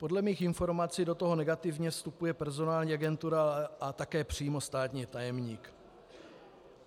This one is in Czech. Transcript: Podle mých informací do toho negativně vstupuje personální agentura a také přímo státní tajemník.